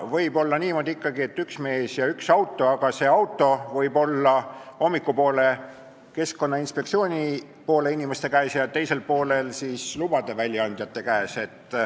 Võib olla ikkagi niimoodi, et üks mees ja üks auto, aga see auto võib hommikupoole olla Keskkonnainspektsiooni inimeste käes ja päeva teisel poolel lubade väljaandjate käes.